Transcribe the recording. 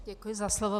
Děkuji za slovo.